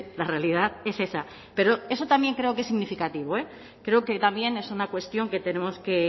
la realidad es esa pero eso también creo que es significativo creo que también es una cuestión que tenemos que